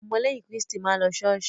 Áwon omo léyìn Kíriṣti máà ń lo Ṣọọsóì.